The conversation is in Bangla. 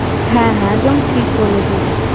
হ্যাঁ হ্যাঁ একদম ঠিক বলেছিস